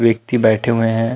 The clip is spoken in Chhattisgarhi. व्यक्ति बैठे हुए है।